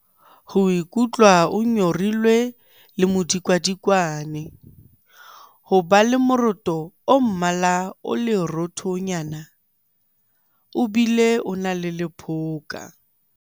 Ho ikutlwa o nyorilwe le modikadikwane. Ho ba le moroto o mmala o leroothonyana, o bile o na le lephoka.